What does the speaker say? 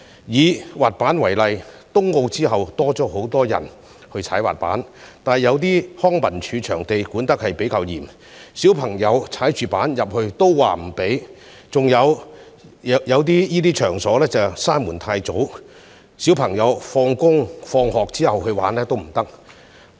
以滑板為例，在東京奧運後，多了很多人滑滑板，但康樂及文化事務署有些場地管理較嚴，不准小朋友滑滑板進內，另一些同類場地則太早關門，小朋友放學後已無法進入玩滑板。